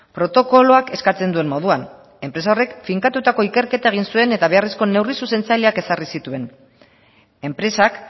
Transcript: protokoloak eskatzen duen moduan enpresa horrek finkatutako ikerketa egin zuen eta beharrezko neurri zuzentzaileak ezarri zituen enpresak